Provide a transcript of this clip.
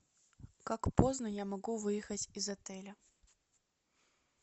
как поздно я могу выехать из отеля